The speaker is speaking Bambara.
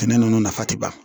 Sɛnɛ ninnu nafa ti ban